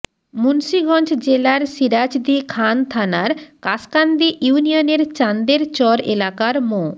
মুন্সিগঞ্জ জেলার সিরাজদি খান থানার খাসকান্দি ইউনিয়নের চাঁন্দের চর এলাকার মো